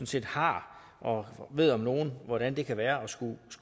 set har og ved om nogen hvordan det kan være